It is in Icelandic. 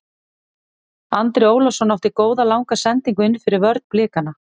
Andri Ólafsson átti góða langa sendingu innfyrir vörn Blikana.